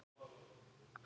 Við töluðum um það.